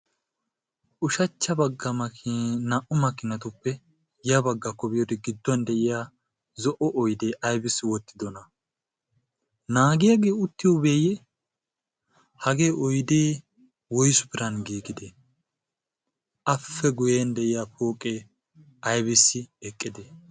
ushachcha bagga naa''u makkinatuppe ya baggaako biyoodi gidduwan de'iya zo''o oidee aybissi wottidona naagiyaagee uttiyoobeeyye hagee oydi woysu piran giigide ape guyen de'iya pooqee aybissi eqqide